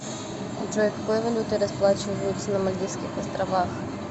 джой какой валютой расплачиваются на мальдивских островах